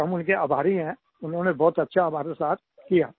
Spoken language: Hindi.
हम उनके आभारी हैं उन्होंने बहुत अच्छा हमारे साथ किया